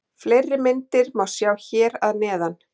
Fleiri myndir má sjá hér að neðan.